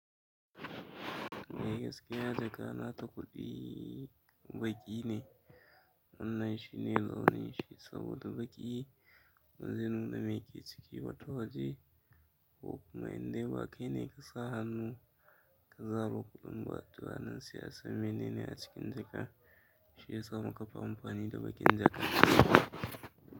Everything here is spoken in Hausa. Mai gaskiya jaka na takudi baƙi ne, wannan shi ne launin shi saboda baƙi. Wanzin da mai ke ciki ba ta waje ko kuma in dai ba kai ne kasa hannu. Za kaga kuɗin mu wato anan sai a san menene a cikin jaka, shi ya samu ƙafa amfani da bakin jaka.